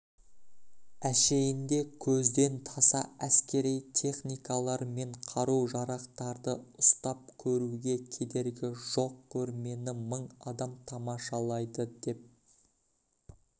әшейінде көзден таса әскери техникалар мен қару-жарақтарды ұстап көруге кедергі жоқ көрмені мың адам тамашалайды деп